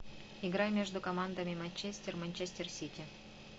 игра между командами манчестер манчестер сити